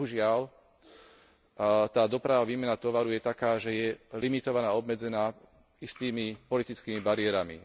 Bohužiaľ, tá doprava, výmena tovaru je taká, že je limitovaná, obmedzená istými politickými bariérami.